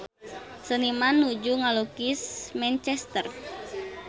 Seniman nuju ngalukis Manchester